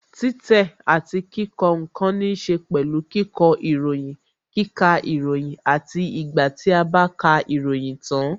Títẹ̀ àti kíkọ ǹkan níse pẹ̀lú kíkọ ìròyìn, kíkà ìròyìn àti ìgbà tí a bá ka ìròyìn tan